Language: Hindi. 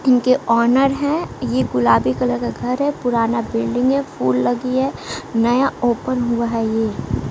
इनके ऑनर हैं ये गुलाबी कलर का घर है पुराना बिल्डिंग है फुल लगी है नया ओपन हुआ है ये।